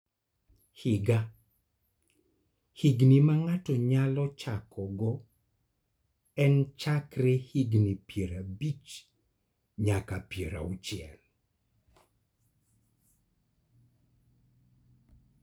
Higa: Higni ma ng�ato nyalo chakogo en chakre higni piero abich nyaka piero auchiel.